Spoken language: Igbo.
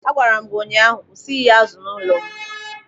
A gwara m gị ụnyaahụ, "Kwụsị ighe azụ n'ụlọ m!"